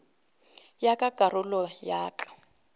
ya ka karolo ya ya